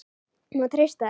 Má treysta þeim?